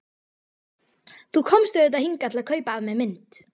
Þú komst auðvitað hingað til að kaupa af mér mynd.